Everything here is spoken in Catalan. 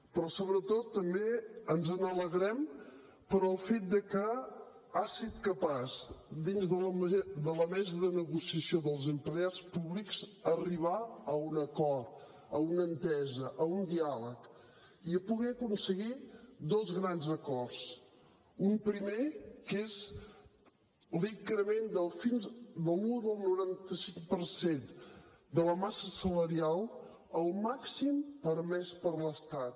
però sobretot també ens n’alegrem pel fet de que ha set capaç dins de la mesa de negociació dels empleats públics d’arribar a un acord a una entesa a un diàleg i a poder aconseguir dos grans acords un primer que és l’increment de l’un coma noranta cinc per cent de la massa salarial el màxim permès per l’estat